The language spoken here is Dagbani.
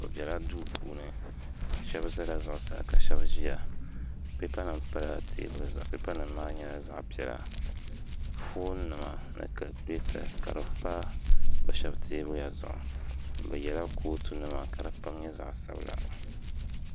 bɛ bela duu puuni shɛba zala zuɣusaa ka shɛba ʒiya peepanima pala teebuli zuɣu peepanima maa nyɛla zaɣ' piɛla fooninima ni kalikuleeta ka di pa bɛ shɛba teebuya zuɣu bɛ yɛla kootunima ka di kama nyɛ zaɣ' sabila